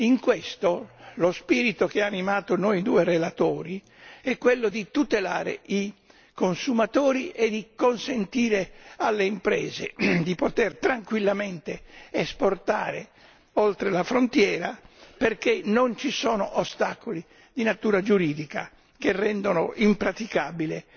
In questo, lo spirito che ha animato noi due relatori è quello di tutelare i consumatori e di consentire alle imprese di poter tranquillamente esportare oltre la frontiera, perché non ci sono ostacoli di natura giuridica che rendano impraticabile